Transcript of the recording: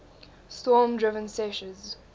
storm driven seiches